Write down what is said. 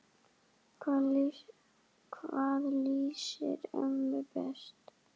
Hvað lýsir mömmu best?